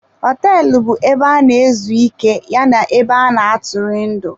Họteelụ bu ebe ana-ezu ike ya na ebe ana-atụri ndị.